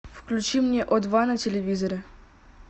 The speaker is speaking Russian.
включи мне о два на телевизоре